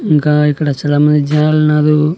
ఇంకా ఇక్కడ చాలామంది జనాలున్నారు.